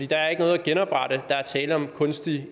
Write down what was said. der ikke noget at genoprette der er tale om kunstige